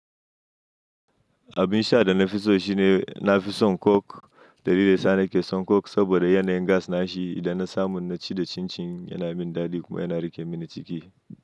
Abin sha da na fi so shine na fi son coke, da lidan sa na ke son coke saboda yana yin gas na shi, idan na samu na ci da cin-cin yana min dadi kuma yana rike mini ciki.